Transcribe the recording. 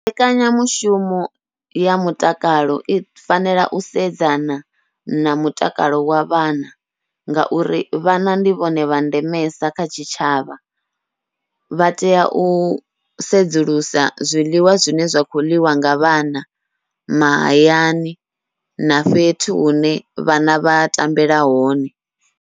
Mbekanyamushumo ya mutakalo i fanela u sedzana na mutakalo wa vhana, ngauri vhana ndi vhone vha ndemesa kha tshitshavha, vha tea u sedzulusa zwiḽiwa zwine zwa kho ḽiwa nga vhana mahayani na fhethu hune vhana vha tambela hone.